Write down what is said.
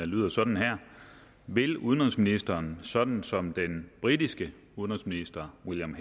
lyder sådan vil udenrigsministeren sådan som den britiske udenrigsminister william